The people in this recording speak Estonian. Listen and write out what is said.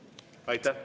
Aitäh!